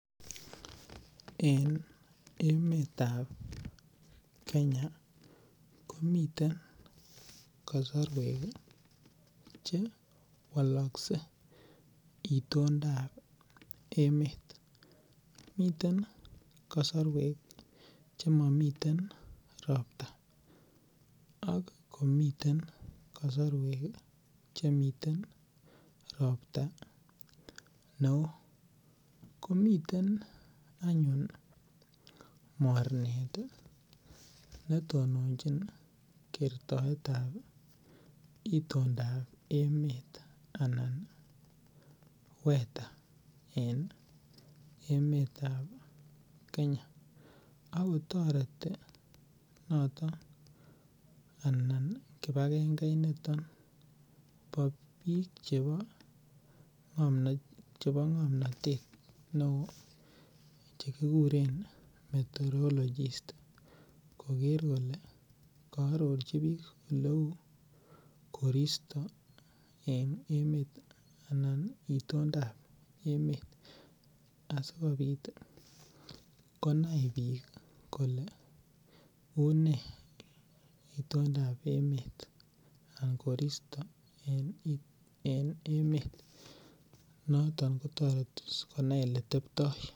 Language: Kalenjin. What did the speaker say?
En emetab Kenya ih , komiten kasarwek che chewalasie itondab emeet, miten kasorwek chemamiten robta ak komiten kasarwek chemi robta neoo. Komiten any mornet netononchin itondab emeet. Anan wether en emeetab Kenya. Akotoreti noton anan ih kibangeit niton anan bik chebo ng'omnatet. Neoo chekikuren meteorologist koker kole koarorchi bik oleuu korista en emeet anan itondab emeet. Asikobit konai bik kole unee itondab emeet anan koristab emeet noton sikonai eletebto .